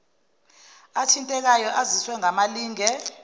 athintekayo aziswe ngamalinge